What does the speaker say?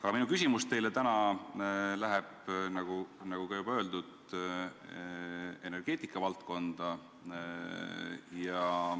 Aga minu küsimus teile täna on, nagu juba öeldud, energeetika valdkonnast.